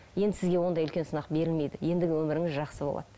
енді сізге ондай үлкен сынақ берілмейді ендігі өміріңіз жақсы болады